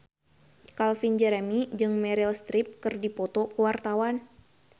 Calvin Jeremy jeung Meryl Streep keur dipoto ku wartawan